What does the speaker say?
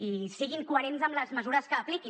i siguin coherents amb les mesures que apliquin